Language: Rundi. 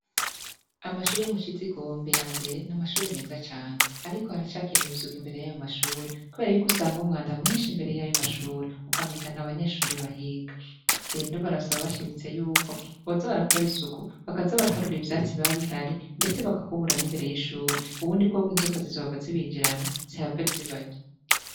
Amashure yo mushizigombe yambere ni amashure meza cane ariko haracakeneye isuku imbere yayo mashure kubera yuko usanga uwanda mwinshi imbere yayo mashure ukamenga ntabanyeshure bahiga rero barasaba bashimitse yuko boza barakora isuku bakaza baraharura ivyatsi biba bihari ndetse bagakubura imbere yi shure ubundi bwo inzoga zizohava zibinjirana zihave zibarya